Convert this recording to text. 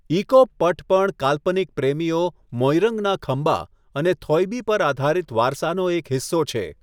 ECop Pat પણ કાલ્પનિક પ્રેમીઓ મોઇરંગના ખંબા અને થોઇબી પર આધારિત વારસાનો એક હિસ્સો છે.